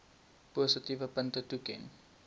positiewe punte toeken